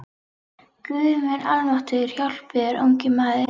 Guð minn almáttugur hjálpi þér ungi maður!